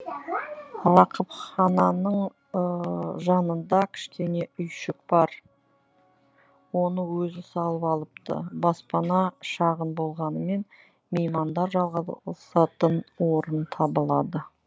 рақыпхананың жанында кішкене үйшік бар оны өзі салып алыпты баспана шағын болғанымен меймандар жайғасатын орын табылады